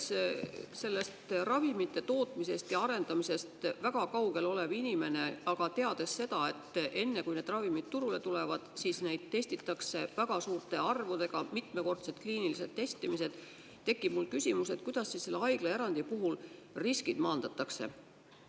Kuna ma olen ravimite tootmisest ja arendamisest väga kaugel olev inimene, aga tean seda, et enne kui need ravimid turule tulevad, siis neid testitakse väga suurte arvudega, neile tehakse mitmekordsed kliinilised testimised, siis tekib mul küsimus, kuidas siis selle haiglaerandi puhul riskid maandatakse.